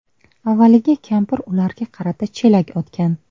Avvaliga kampir ularga qarata chelak otgan.